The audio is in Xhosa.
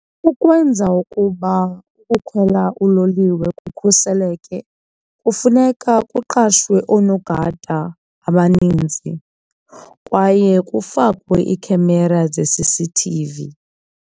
Ukwenza ukuba ukukhwela uloliwe kukhuseleke kufuneka kuqashwe oonogada abanintsi kwaye kufakwe ii-camera ze-C_C_T_V.